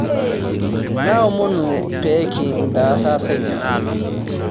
Naomonu peekintaasasa ina